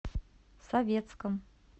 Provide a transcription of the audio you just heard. советском